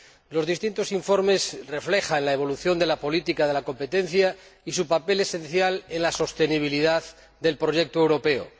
Los distintos informes reflejan la evolución de la política de competencia y su papel esencial en la sostenibilidad del proyecto europeo.